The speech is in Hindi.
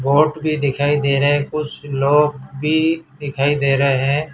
बोट भी दिखाई दे रहे हैं कुछ लोग भी दिखाई दे रहे हैं।